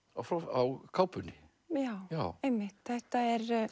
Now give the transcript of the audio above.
á kápunni já einmitt þetta er